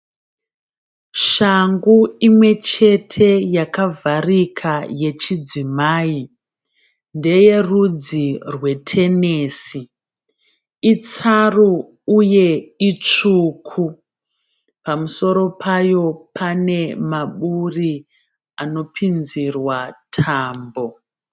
Shangu imwe chete yakavharika yechidzimai, ndeye rudzi rwetenesi, itsaru uye itsvuku pamusoro payo pane maburi anopinzirwa tambo.